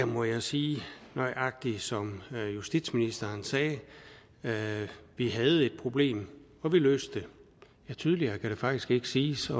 må jeg sige nøjagtig som justitsministeren sagde det vi havde et problem og vi løste det tydeligere kan det faktisk ikke siges